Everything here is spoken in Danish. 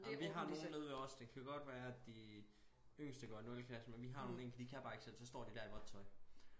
Ej men vi har nogen nede ved os det kan godt være at de yngste går i nulte klasse men vi har nogen enkelte de kan bare ikke selv så står de der i vådt tøj